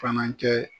Fana kɛ